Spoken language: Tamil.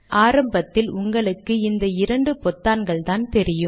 ஆனால் ஆரம்பத்தில் உங்களுக்கு இந்த இரண்டு பொத்தான்கள்தான் தெரியும்